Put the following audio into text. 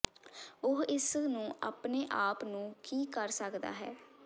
ਉਹ ਇਸ ਨੂੰ ਆਪਣੇ ਆਪ ਨੂੰ ਕੀ ਕਰ ਸਕਦਾ ਹੈ